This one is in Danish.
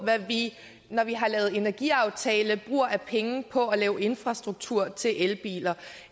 hvad vi når vi har lavet en energiaftale bruger af penge på at lave infrastruktur til elbiler